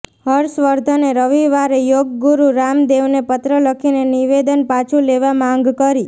હર્ષવર્ધને રવિવારે યોગગુરુ રામદેવને પત્ર લખીને નિવેદન પાછું લેવા માંગ કરી